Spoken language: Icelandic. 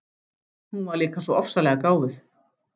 Hún var líka svo ofsalega gáfuð.